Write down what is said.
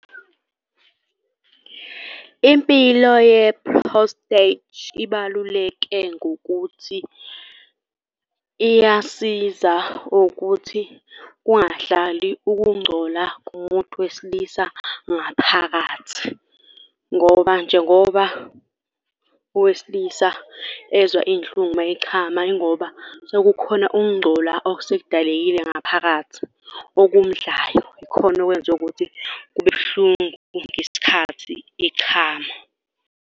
Impilo ye-prostate ibaluleke ngokuthi iyasiza ukuthi kungahlali ukungcola kumuntu wesilisa ngaphakathi ngoba njengoba owesilisa ezwa iy'nhlungu uma echama yingoba sekukhona ukungcola osekudalekile ngaphakathi okumdlayo. Ikhona okwenza ukuthi kube buhlungu ngesikhathi echama.